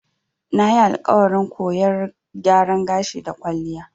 Nayi alƙawarin koyar gyaran gashi da kwalliya.